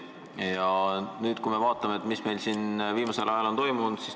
Vaatame nüüd, mis meil siin viimasel ajal on toimunud.